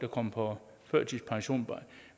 kommer på førtidspension